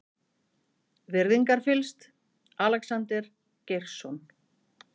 Virðingarfyllst, Alexander Geirsson.